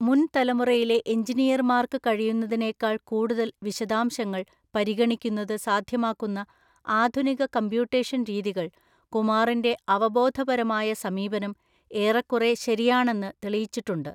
മുൻ തലമുറയിലെ എഞ്ചിനീയർമാർക്ക് കഴിയുന്നതിനേക്കാൾ കൂടുതൽ വിശദാംശങ്ങൾ പരിഗണിക്കുന്നത് സാധ്യമാക്കുന്ന ആധുനിക കമ്പ്യൂട്ടേഷൻ രീതികൾ, കുമാറിന്റെ അവബോധപരമായ സമീപനം ഏറെക്കുറെ ശരിയാണെന്ന് തെളിയിച്ചിട്ടുണ്ട്.